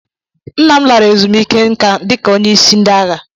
Nna m lara ezumike nká dị ka onyeisi ndị agha.